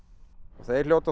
þeir hljóta þá